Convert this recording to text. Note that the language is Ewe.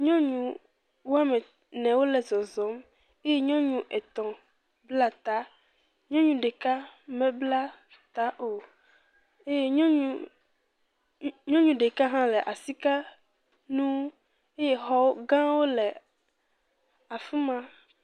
Nyɔnu wɔme ene wole zɔzɔm eye nyɔnu etɔ̃ bla ta. Nyɔnu ɖeka mebla ta o eye nyɔnu. Nyɔ nyɔnu ɖeka hã le asi ka nu eye xɔgãwo le afi ma.